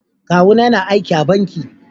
Kawu na yana aiki a banking.